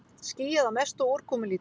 Skýjað að mestu og úrkomulítið